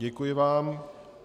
Děkuji vám.